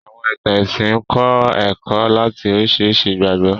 Àwọ̀n ìtàn ẹ̀sìn ń kọ́ ẹ̀kọ́ láti oríṣiríṣi ìgbàgbọ́